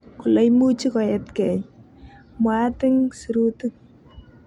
"Kole imuchi koet kei", mwaat ing sirutik.